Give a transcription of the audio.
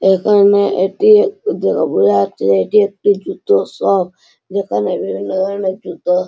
এখানে এটি একটি বোঝা যাচ্ছে যে এটি একটি জুতোর শপ এখানে বিভিন্ন ধরনের জুতো --